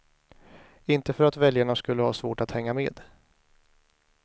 Inte för att väljarna skulle ha svårt att hänga med.